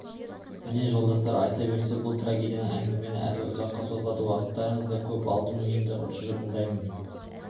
міне жолдастар айта берсе бұл трагедиялы әңгіме әлі ұзаққа созылады уақыттарыңызды да көп алдым енді тұжырымдайын